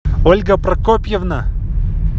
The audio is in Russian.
ольга прокопьевна